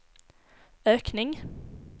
ökning